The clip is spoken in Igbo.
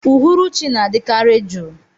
Uhuruchi na-adị kari juu.